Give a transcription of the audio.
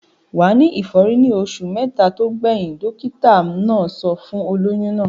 Wà á ní ìfọ́rí ní oṣù mẹ́ta tó gbẹ̀yìn. Dọ́kítá náà sọ fún olóyún náà.